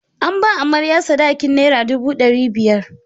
An ba amarya sadakin nera dubu ɗari biyar.